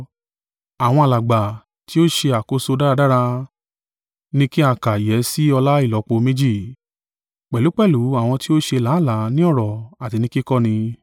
Àwọn alàgbà ti ó ṣe àkóso dáradára ni kí a kà yẹ sí ọlá ìlọ́po méjì, pẹ̀lúpẹ̀lú àwọn ti ó ṣe làálàá ni ọ̀rọ̀ àti ni kíkọ́ni.